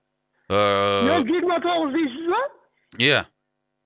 ыыы нөл жиырма тоғыз дейсіз ба ия